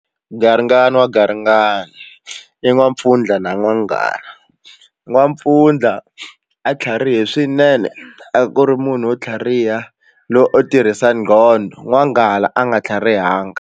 Garingani wa garingani i n'wampfundla na n'wanghala n'wampfundla a tlharihile swinene a ku ri munhu wo tlhariha loyi u tirhisa nqondo n'wanghala a nga tlhariha banga.